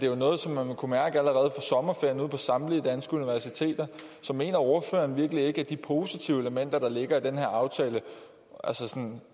jo noget som man vil kunne mærke allerede sommerferien ude på samtlige danske universiteter så mener ordføreren virkelig ikke at de positive elementer der ligger i den her aftale